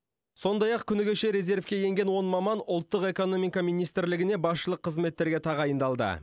сондай ақ күні кеше резервке енген он маман ұлттық экономика министрлігіне басшылық қызметтерге тағайындалды